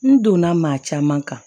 N donna maa caman kan